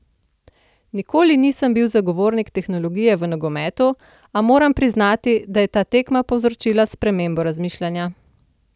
Nikoli nisem bil zagovornik tehnologije v nogometu, a moram priznati, da je ta tekma povzročila spremembo razmišljanja.